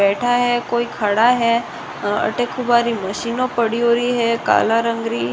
बैठा है कोई खड़ा है अठे तुम्हारी मशीना पड़ योरी है काला रंग री।